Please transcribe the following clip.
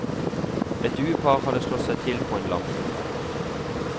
Et duepar hadde slått seg til på en lampe.